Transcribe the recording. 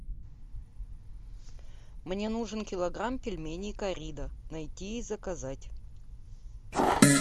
мне нужен килограмм пельменей коррида найти и заказать